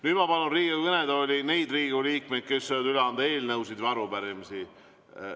Nüüd ma palun Riigikogu kõnetooli neid Riigikogu liikmeid, kes soovivad üle anda eelnõusid või arupärimisi.